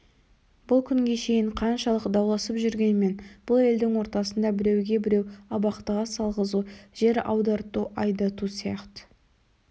бұл күнге шейін қаншалық дауласып жүргенмен бұл елдің ортасында біреуге біреу абақтыға салғызу жер аударту айдату сияқты